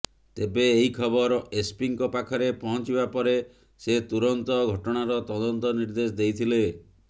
ତେବେ ଏହି ଖବର ଏସ୍ପିଙ୍କ ପାଖରେ ପହଞ୍ଚିବା ପରେ ସେ ତୁରନ୍ତ ଘଟଣାର ତଦନ୍ତ ନିର୍ଦ୍ଦେଶ ଦେଇଥିଲେ